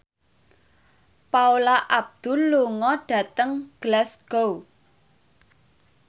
Paula Abdul lunga dhateng Glasgow